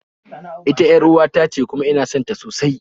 Ita yar'uwa tace kuma ina sonta sosai